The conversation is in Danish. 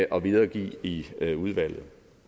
og videregive i udvalget